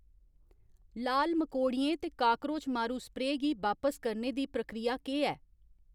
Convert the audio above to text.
लाल मकोड़ियें ते काकरोच मारू स्प्रेऽ गी बापस करने दी प्रक्रिया केह् ऐ ?